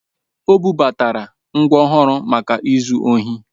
O bubatara ngwa ọhụrụ maka izu ohi